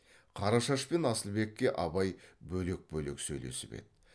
қарашаш пен асылбекке абай бөлек бөлек сөйлесіп еді